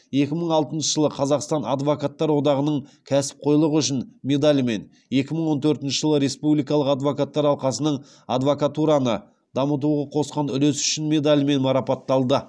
екі мың алтыншы жылы қазақстан адвокаттар одағының кәсіпқойлығы үшін медалімен екі мың он төртінші жылы республикалық адвокаттар алқасының адвокатураны дамытуға қосқан үлесі үшін медалімен марапатталды